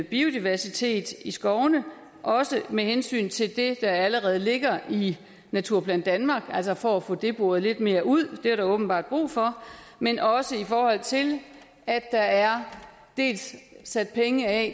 biodiversitet i skovene også med hensyn til det der allerede ligger i naturplan danmark altså for at få det boret lidt mere ud det er der åbenbart brug for men også i forhold til at der er sat penge af